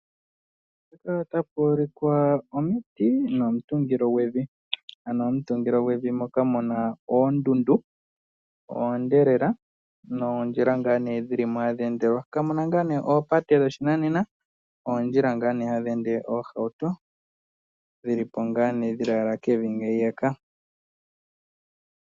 Mpaka otapu ulikwa omuti nomutungilo gwevi ano omutungilo gwevi moka muna oondundu oonde lela noondjila ngaa nee dhili mo hadhi endelwa kamuna ngaa nee oopate dhoshinanena oondjila ngaa nee hadhi ende oohauto dhili po ngaa nee dhilaala kevi ngeyaka.